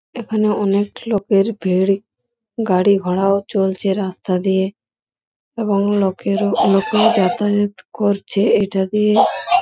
এখানে অনেক লোকের ভিড় গাড়িঘোড়া ও চলছে রাস্তা দিয়ে এবং লোকেও যাতায়াত করছে ইটা দিয়ে ।